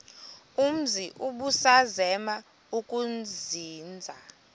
umzi ubusazema ukuzinza